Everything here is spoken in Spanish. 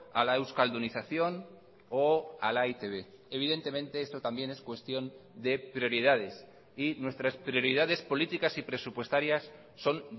a la euskaldunización o a la e i te be evidentemente esto también es cuestión de prioridades y nuestras prioridades políticas y presupuestarias son